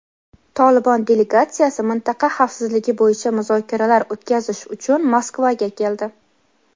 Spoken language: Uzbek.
"Tolibon" delegatsiyasi mintaqa xavfsizligi bo‘yicha muzokaralar o‘tkazish uchun Moskvaga keldi.